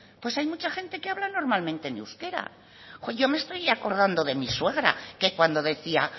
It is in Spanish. pues hay mucha gente que habla normalmente en euskera yo me estoy acordando de mi suegra que cuando decía